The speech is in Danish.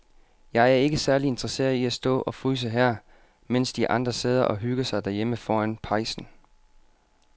Jeg er ikke særlig interesseret i at stå og fryse her, mens de andre sidder og hygger sig derhjemme foran pejsen.